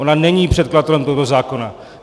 Ona není předkladatelem tohoto zákona.